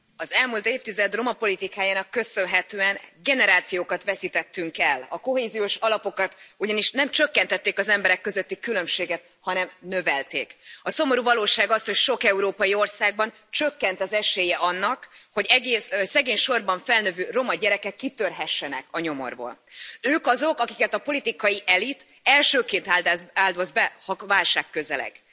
Tisztelt Elnök asszony, az elmúlt évtized roma politikájának köszönhetően generációkat veszítettünk el. A kohéziós alapokkal ugyanis nem csökkentették az emberek közötti különbséget, hanem növelték. A szomorú valóság az, hogy sok európai országban csökkent az esélye annak, hogy egész szegénysorban felnövő roma gyerekek kitörhessenek a nyomorból. Ők azok, akiket a politikai elit elsőként áldoz be, ha válság közeleg.